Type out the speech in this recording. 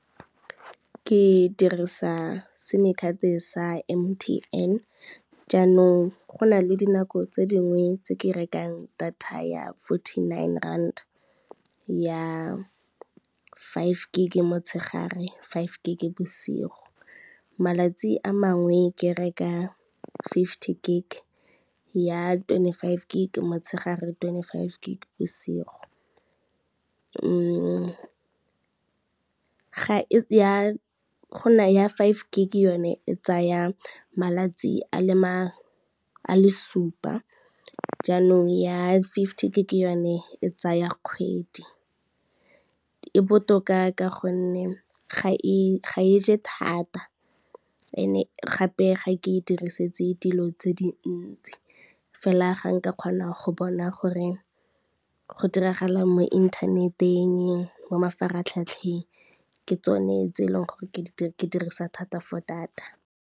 Ke dirisa sim card sa M_T_N, jaanong go na le dinako tse dingwe tse ke rekang data ya fourteen nine rand ya five gig motshegare, five gig bosigo. Malatsi a mangwe ke reka fifty gig ya twenty five gig motshegare twenty five ke bosigo, go na ya five ke yone e tsaya malatsi a le supa jaanong ya fifty gig yone e tsaya kgwedi. E botoka ka gonne, ga e je thata ene gape ga ke e dirisetse dilo tse dintsi fela ga ka kgona go bona gore go diragala mo inthaneteng, mo mafaratlhatlheng ke tsone tse e leng gore ke dirisa thata for data.